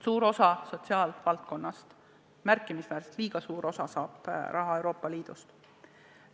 Suur osa sotsiaalvaldkonnast, märkimisväärne, liiga suur osa saab raha Euroopa Liidust.